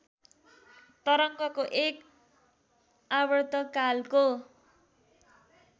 तरङ्गको एक आवर्तकालको